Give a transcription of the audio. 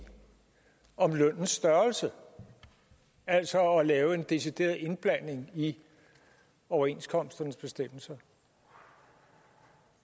om lønnens størrelse altså at lave en decideret indblanding i overenskomstens bestemmelser